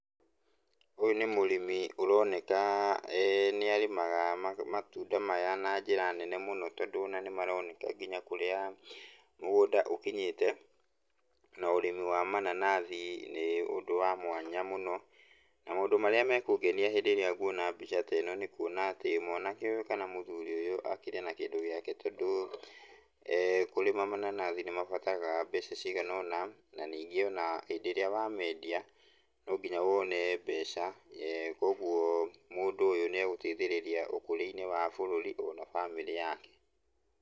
Ũyũ nĩ mũrimi ũroneka nĩarĩmaga matuda maya na njĩra nene mũno, tondũ ona nĩmaroneka kinya kũrĩa mũgũnda ũkinyĩte. Na ũrĩmi wa mananathi nĩ ũndũ wa mwanya mũno. Na maũndũ marĩa mekũngenia hĩndĩ ĩrĩa nguona mbica ĩno nĩkuona atĩ mwanake ũyũ kana mũthuri ũyũ akĩrĩ na kĩndũ gĩake tondũ kũrĩma mananathi nĩmabataraga mbeca cigana ũna, na ningĩ ona hĩndĩ ĩrĩa wamendia, no nginya wone mbeca, kuoguo mũndũ ũyũ nĩegũteithĩrĩria ũkũria-inĩ wa bũrũri ona bamĩrĩ yake.